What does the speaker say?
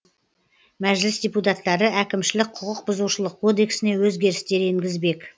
мәжіліс депутаттары әкімшілік құқық бұзушылық кодексіне өзгерістер енгізбек